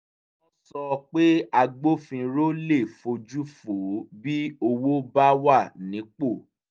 wọ́n sọ pé agbófinró le fojú fo bí owó bá wà nípò